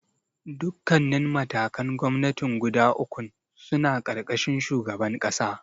Dukkannin matakan gwamnatin guda ukun suna ƙarƙashin shugaban ƙasa.